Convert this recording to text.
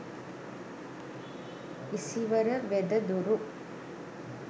isivara wedaduru